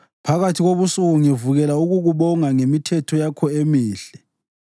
Phakathi kobusuku ngivukela ukukubonga ngemithetho yakho emihle.